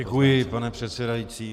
Děkuji, pane předsedající.